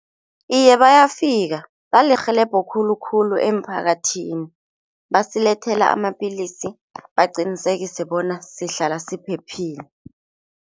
Iye, bayafika balirhelebho khulukhulu emphakathini, basilethele amapillisi. Baqinisekise bona sihlala siphephile.